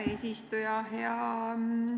Hea eesistuja!